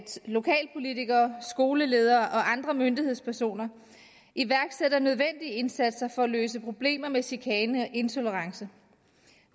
lokalpolitikere skoleledere og andre myndighedspersoner iværksætter nødvendige indsatser for at løse problemer med chikane og intolerance